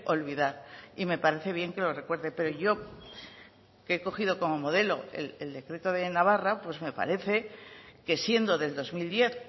olvidar y me parece bien que lo recuerde pero yo que he cogido como modelo el decreto de navarra pues me parece que siendo del dos mil diez